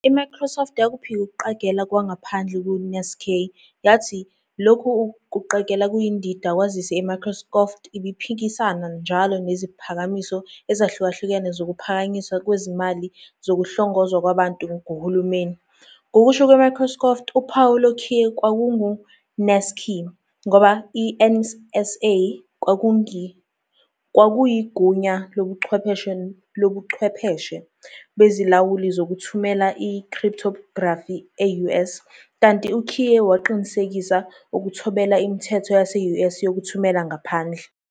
IMicrosoft yakuphika ukuqagela kwangaphandle ku _NSAKEY yathi "Lokhu kuqagela kuyindida kwazise iMicrosoft ibiphikisana njalo neziphakamiso ezahlukahlukene zokuphakanyiswa kwezimali zokuhlongozwa kwabantu nguhulumeni."Ngokusho kweMicrosoft, uphawu lokhiye kwakungu "_NSAKEY" ngoba i-NSA kwakuyigunya lobuchwepheshe lobuchwepheshe bezilawuli zokuthumela i-cryptography e-US, kanti ukhiye waqinisekisa ukuthobela imithetho yase-US yokuthumela ngaphandle.